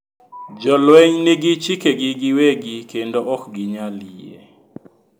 "Jolweny nigi chike gi giwegi kendo ok ginyal yie.